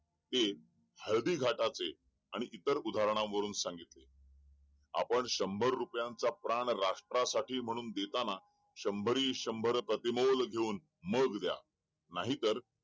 हे हळवी घाटाचे आणि इतर उदाहरण वरून सांगितले आपण शंभर रुपयांचा प्राण राष्ट्रा साठी म्हणून देताना शंभरी शंभर प्रति मोल घेऊन मग द्या नाहीतर